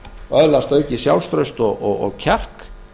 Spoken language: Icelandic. og öðlast aukið sjálfstraust og kjark